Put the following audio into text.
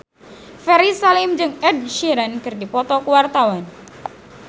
Ferry Salim jeung Ed Sheeran keur dipoto ku wartawan